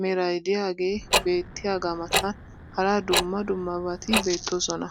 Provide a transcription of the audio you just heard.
meray diyaagee beetiyaagaa matan hara dumma dummabati beettoosona.